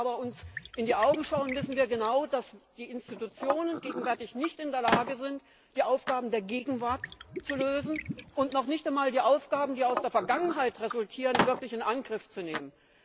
Wenn wir uns aber in die Augen schauen, dann wissen wir genau, dass die Institutionen gegenwärtig nicht in der Lage sind, die Aufgaben der Gegenwart zu lösen, und dass sie noch nicht einmal die Aufgaben, die aus der Vergangenheit resultieren, wirklich in Angriff zu nehmen.